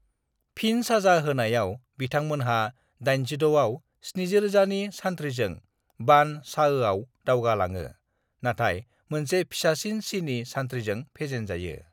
"फिन साजा होनायाव, बिथां मोनहा 86 आव 70,000 नि सान्थ्रिजों बान चाओआव दावगा लाङो, नाथाय मोनसे फिसासिन चीनी सान्थ्रिजों फेजेन जायो।"